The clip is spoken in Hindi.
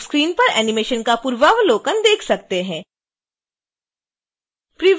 हम स्क्रीन पर एनीमेशन का पूर्वावलोकन देख सकते हैं